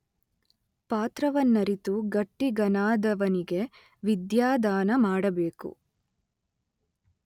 ಪಾತ್ರವನ್ನರಿತು ಗಟ್ಟಿಗನಾದವನಿಗೆ ವಿದ್ಯಾದಾನ ಮಾಡಬೇಕು.